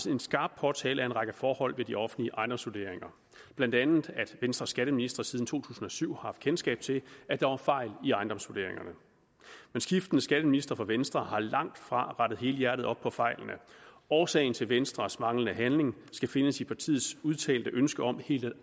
en skarp påtale af en række forhold ved de offentlige ejendomsvurderinger blandt andet at venstres skatteministre siden to tusind og syv har haft kendskab til at der var fejl i ejendomsvurderingerne men skiftende skatteministre fra venstre har langtfra rettet helhjertet op på fejlene årsagen til venstres manglende handling skal findes i partiets udtalte ønske om helt at